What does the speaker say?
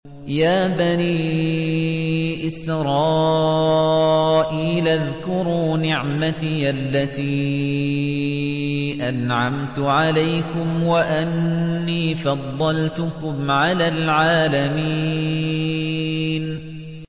يَا بَنِي إِسْرَائِيلَ اذْكُرُوا نِعْمَتِيَ الَّتِي أَنْعَمْتُ عَلَيْكُمْ وَأَنِّي فَضَّلْتُكُمْ عَلَى الْعَالَمِينَ